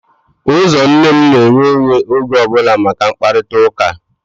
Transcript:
Ụzọ nne m na-eghe oghe oge ọ bụla maka mkparịtaụka